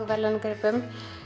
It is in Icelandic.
verðlaunagripum